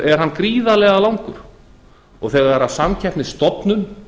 er hann gríðarlega langur þegar samkeppnisstofnun